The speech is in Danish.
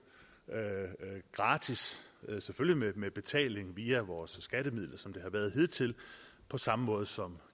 gratis selvfølgelig med betaling via vores skattemidler som det har været hidtil på samme måde som